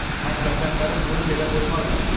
Həmvətənlərin bunu belə qoymazlar.